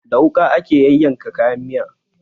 Da wuƙa ake yayyanka kayan miya